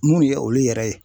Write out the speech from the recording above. Mun ne ye olu yɛrɛ ye?